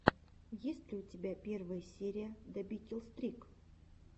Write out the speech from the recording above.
есть ли у тебя первая серия добикилстрик